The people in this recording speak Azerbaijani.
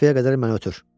Qapıya qədər məni ötür.